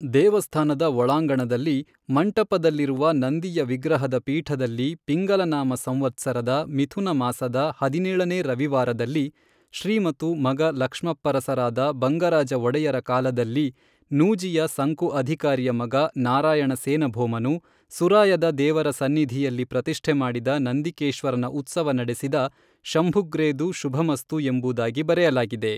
ದೇವಸ್ಥಾನದ ಒಳಾಂಗಣದಲ್ಲಿ, ಮಂಟಪದಲ್ಲಿರುವ ನಂದಿಯ ವಿಗ್ರಹದ ಪೀಠದಲ್ಲಿ, ಪಿಂಗಲನಾಮ ಸಂವತ್ಸರದ ಮಿಥುನ ಮಾಸದ ಹದಿನೇಳನೇ ರವಿವಾರದಲ್ಲಿ, ಶ್ರೀಮತು ಮಗ ಲಕ್ಷ್ಮಪ್ಪರಸರಾದ ಬಂಗರಾಜ ಒಡೆಯರ ಕಾಲದಲ್ಲಿ ನೂಜಿಯ ಸಂಕು ಅಧಿಕಾರಿಯ ಮಗ ನಾರಾಯಣ ಸೇನ ಭೋಮನು, ಸುರಾಯದ ದೇವರ ಸನ್ನಿಧಿಯಲ್ಲಿ ಪ್ರತಿಷ್ಠೆಮಾಡಿದ ನಂದಿಕೇಶ್ವರನ ಉತ್ಸವ ನಡೆಸಿದ ಶಂಭುಗ್ರೇದು ಶುಭಮಸ್ತು ಎಂಬುದಾಗಿ ಬರೆಯಲಾಗಿದೆ.